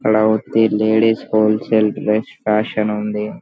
అల్లా వస్తే ladies wholesale best fashion ఉంది.